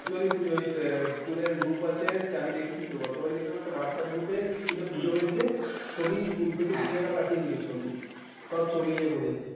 virtually পূজোয় স্কুলর group আছে আমি দেখেছি তো গতবারই দেখেছিলাম একটা whatsapp group এ পুজো হয়েছে ছবি স্কুল থেকে teacher কিছু একটা পাঠিয়ে দিল ছবি সব ছবি